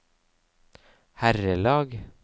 herrelag